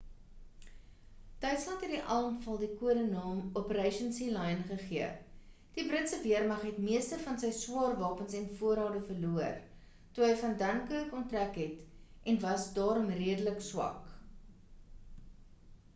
duitsland het die aanval die kode-naam operation sealion gegee die britse weermag het meeste van sy swaar wapens en voorrade verloor toe hy van dunkirk ontrek het en was daarom redelik swak